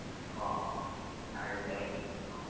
আহ আহ আৰু যিখিনিত